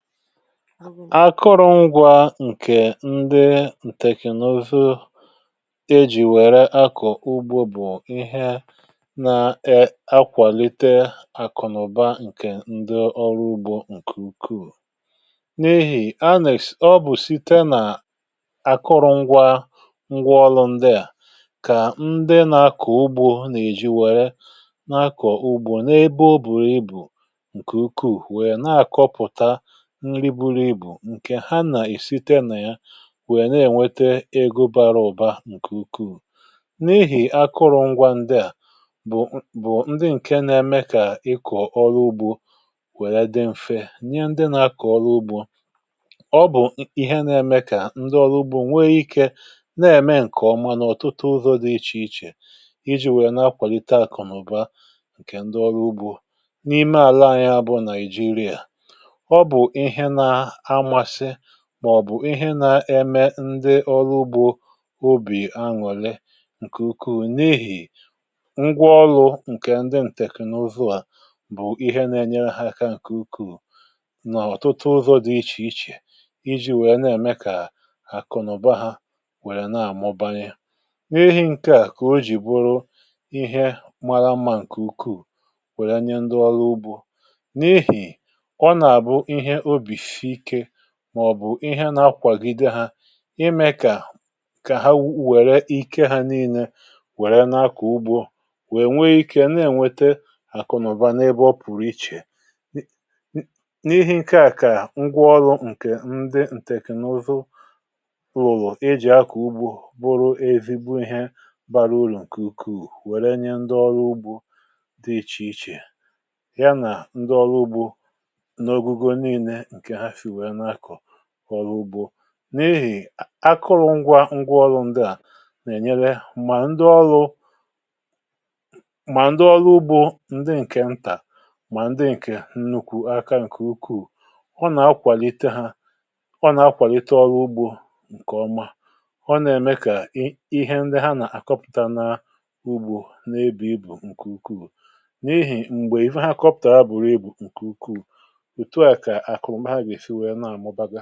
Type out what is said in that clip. Àkụ̀rụ̀ngwȧ ǹkè ndị tèknụ̀zụ ejì wèrè akọ̀ ugbȯ bụ̀ ihe nà-akwàlite àkụ̀ nà ụ̀bà ǹkè ndị ọrụ ugbȯ ǹkè ukwuù. N’ihì um ànị̀ché ọ bụ̀ site nà akụrụ̀ngwȧ ǹgwȧ ọlụ̇ ndịà kà ndị nà-akọ̀ ugbȯ nà-èji wèrè n’akọ̀ ugbȯ n’ebe ọ̀ bùrù ibù ǹkè ukwuù, wèe nà-àkọpụ̀tà ǹkè ha, nà-ìsì tènè ya, wèe nà-ènwete egȯ bàrà ùbà ǹkè ukwuù. N’ihì akụrụ̀ngwȧ ndịà bụ̀ ndị ǹkè nà-eme kà ikò ọrụ ugbȯ wèrè dị mfe nye ndị nà-akọ̀ ọrụ ugbȯ. Ọ bụ̀ ihe nà-eme kà ndị ọrụ ugbȯ nwee ikė nà-ème ǹkè ọ̀mà n’ọ̀tụtụ ụzọ̇ dị iche iche iji̇ wèe nà-akwàlite àkụ̀nụ̀bà ǹkè ndị ọrụ ugbȯ n’ime àlà anyị abụọ — Nàịjíríà màọbụ̀ ihe nà-eme kà ndị ọrụ ugbȯ nwee ọbì ànwò̇lè. Ǹkè ukwuù n’ihì ngwa ọlụ̇ ǹkè ndị tèknụ̀zụ bụ̀ ihe nà-enyere ha àkà ǹkè ukù n’ọ̀tụtụ ụzọ̇ dị iche iche, iji̇ wèe nà-ème kà àkụ̀ nà ụ̀bà ha wèlè nà-àmọ̀bànyè n’èhì̇. Ǹkè à kà o jì bụrụ̀ ihe màrà mà, ǹkè ukwuù wè̄lè nye ndị ọrụ ugbȯ, n’ihì màọ̀bụ̀ ihe nà-akwàgide ha ime kà ha wèrè ìkè ha nìinē, wèrè nà-akọ̀ ugbȯ, wèe nwee ikė nà-ènwete àkụ̀nàụ̀bà n’ebe ọ̀ pụ̀rụ̀ iche. N’ihe ǹkè à, kà ngwa ọlụ̇ ǹkè ndị tèknụ̀zụ wùlù iji̇ akọ̀ ugbȯ, bụrụ̀ e vivu ihe bàrà ùrù ǹkè ukwuù, wè̄lè nye ndị ọrụ ugbȯ dị iche iche — yà bụ̀ ndị ọrụ ugbȯ ǹkè ntà màọbụ̀ ndị ǹkè ukwuù. Ọ nà-akwàlite ha, ọ nà-akwàlite ọrụ ugbȯ ǹkè ọ̀mà, ọ nà-ème kà ihe ndị ha nà-àkọpụ̀tà n’ugbȯ n’ebe ị̀ bụ̀ ǹkè ukwuù, n’ihì um m̀gbè ihe ha kọpụ̀tàrà ha, bụ̀rụ̀ ịbụ̀ ǹkè ukwuù.